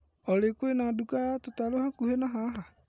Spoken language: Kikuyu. Olĩ kwĩna nduka ya tũtarũ hakuhĩ na haha?